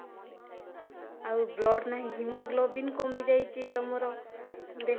ଆଉ blood ନାହିଁ, haemoglobin କମିଯାଇଛି ତମର